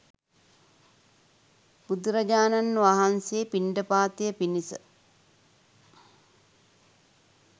බුදුරජාණන් වහන්සේ පිණ්ඩපාතය පිණිස